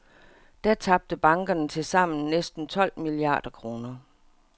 Da tabte bankerne tilsammen næsten tolv milliarder kroner.